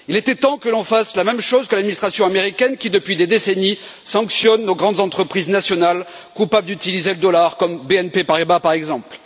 Il était temps que l'on fasse la même chose que l'administration américaine qui, depuis des décennies, sanctionne nos grandes entreprises nationales coupables d'utiliser le dollar, comme BNP Paribas, par exemple.